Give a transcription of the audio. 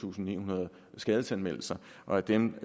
tusind ni hundrede skadesanmeldelser og af dem